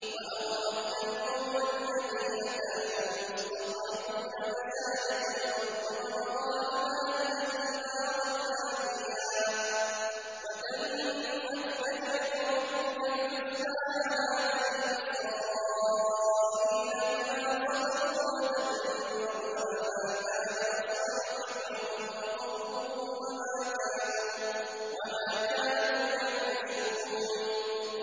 وَأَوْرَثْنَا الْقَوْمَ الَّذِينَ كَانُوا يُسْتَضْعَفُونَ مَشَارِقَ الْأَرْضِ وَمَغَارِبَهَا الَّتِي بَارَكْنَا فِيهَا ۖ وَتَمَّتْ كَلِمَتُ رَبِّكَ الْحُسْنَىٰ عَلَىٰ بَنِي إِسْرَائِيلَ بِمَا صَبَرُوا ۖ وَدَمَّرْنَا مَا كَانَ يَصْنَعُ فِرْعَوْنُ وَقَوْمُهُ وَمَا كَانُوا يَعْرِشُونَ